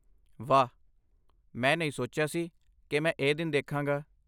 ਵਾਹ, ਮੈਂ ਨਹੀਂ ਸੋਚਿਆ ਸੀ ਕੀ ਮੈਂ ਇਹ ਦਿਨ ਦੇਖਾਂਗਾ